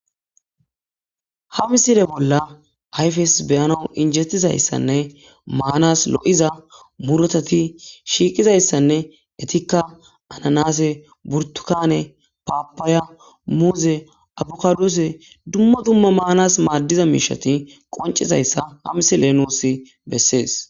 Ha misile bola ayifes beanas injetizaayisanne Manas loiza murutata shiqidasanne henitikka ananase,burutukane ,papaya,muze,abukadose dumma dumma Manas madiza mishshat qonicizayisa ha misileyi nus besees